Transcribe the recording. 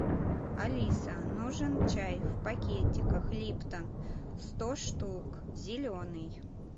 алиса нужен чай в пакетиках липтон сто штук зеленый